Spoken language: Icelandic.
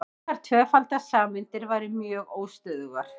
slíkar tvöfaldar sameindir væru mjög óstöðugar